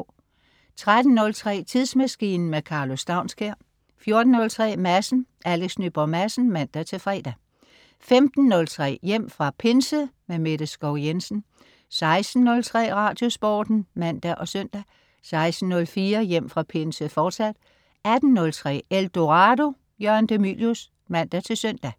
13.03 Tidsmaskinen. Karlo Staunskær 14.03 Madsen. Alex Nyborg Madsen (man-fre) 15.03 Hjem fra Pinse. Mette Skov-Jensen 16.03 Radiosporten (man og søn) 16.04 Hjem fra Pinse, fortsat 18.03 Eldorado. Jørgen de Mylius (man-søn)